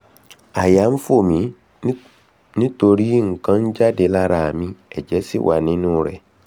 àyà ń fò mí torí nǹkan jáde lára mi ẹ̀jẹ̀ sì wà nínú rẹ̀